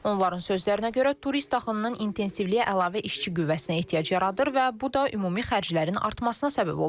Onların sözlərinə görə, turist axınının intensivliyi əlavə işçi qüvvəsinə ehtiyac yaradır və bu da ümumi xərclərin artmasına səbəb olur.